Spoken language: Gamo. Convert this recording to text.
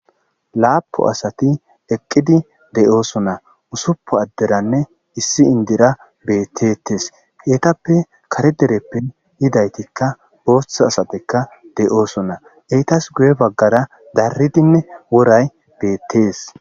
Lapu asati eqqidi de7ooso na usuppu adderanne issi indira beettetes heetappe kare dereppe yidaytikka booththa asatekka de7ooso na eytas guye baggara daridinne woray beettees.